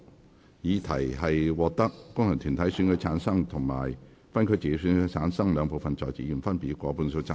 我認為議題獲得經由功能團體選舉產生及分區直接選舉產生的兩部分在席議員，分別以過半數贊成。